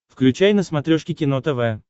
включай на смотрешке кино тв